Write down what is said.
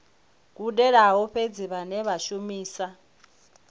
gudelaho fhedzi vhane vha shumisa